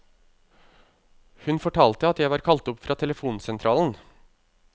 Hun fortalte at jeg var kalt opp fra telefonsentralen.